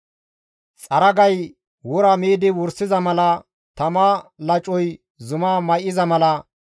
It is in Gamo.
Xaragay wora miidi wursiza mala, tama lacoy zuma may7iza mala,